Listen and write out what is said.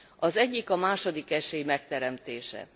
Az egyik a második esély megteremtése.